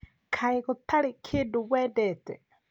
Kaĩ gũtarĩ kĩndũ wendete?